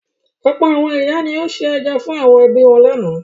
Ọ̀pọ̀ àwọn ìyá ni ó se ẹja fún àwọn ẹbí wọn lánàá.